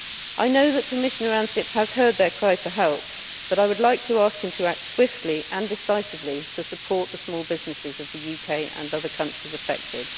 I know that Commissioner Ansip has heard their cry for help but I would like to ask him to act swiftly and decisively to support the small businesses of the UK and other countries affected.